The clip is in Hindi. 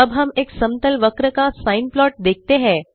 अब हम एक समतल वक्र का सिने प्लॉट देखते हैं